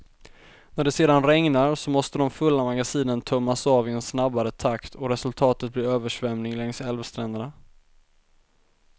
När det sedan regnar, så måste de fulla magasinen tömmas av i en snabbare takt och resultatet blir översvämning längs älvstränderna.